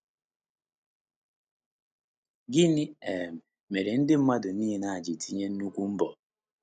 Gịnị um mere ndị mmadụ niile a ji tinye nnukwu mbọ?